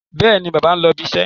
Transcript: Bẹ́ẹ̀ni, bàbá ń lọ ibiṣẹ́.